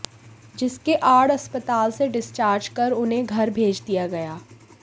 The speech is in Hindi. जिसके आड़ अस्पताल से डिस्चार्ज कर उन्हें घर भेज दिया गया